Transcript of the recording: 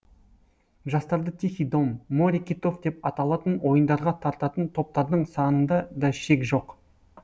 жастарды тихий дом море китов деп аталатын ойындарға тартатын топтардың санында да шек жоқ